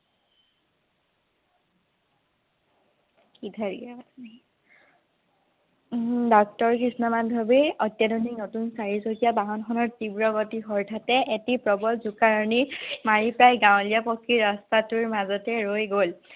উম doctor Krishna Madhavi অত্যাধুনিক নতুন চাৰিচকীয়া বাহনখনৰ তীব্ৰ গতি হৰ্ঠাতে এটি প্ৰবল জোকাৰণি মাৰি পেলাই গাঁৱলিয়া পথটিৰ ৰাস্তাটোৰ মাজতে ৰৈ গল।